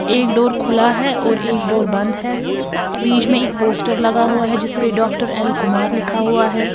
एक डोर खुला है और एक डोर बंद है बीच में पोस्टर लगा हुआ है जिसमे डॉक्टर एल कुमार लिखा हुआ है।